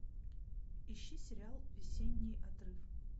ищи сериал весенний отрыв